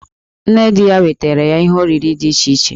Nne di ya wetaara ye ihe oriri dị iche iche.